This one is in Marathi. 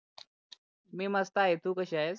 मी मस्त आहे तू कसी आहेस?